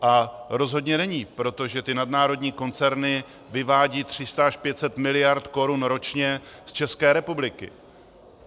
A rozhodně není, protože ty nadnárodní koncerny vyvádějí 300 až 500 miliard korun ročně z České republiky.